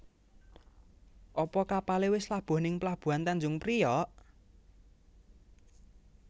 Apa kapale wis labuh ning pelabuhan Tanjung Priok?